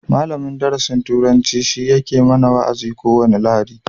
Malamin darasin turanci shi yake mana wa'azi a ko wani lahadi